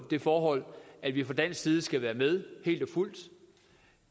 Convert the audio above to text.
det forhold at vi fra dansk side skal være med